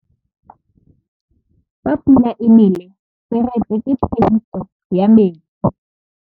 Fa pula e nelê serêtsê ke phêdisô ya metsi.